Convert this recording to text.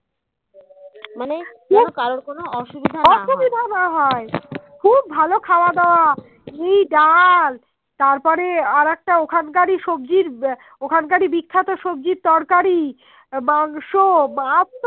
খুব ভালো খাওয়া দাও এই ডাল তারপরে আর একটা ওখান কারীর সবজির ওখানকারী বিখ্যাত তরকারি মাংস মাছ